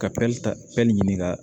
Ka ta fɛn nin ɲini ka